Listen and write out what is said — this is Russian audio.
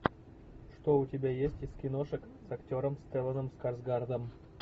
что у тебя есть из киношек с актером стелланом скарсгардом